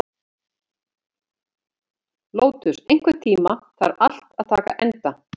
Lótus, einhvern tímann þarf allt að taka enda.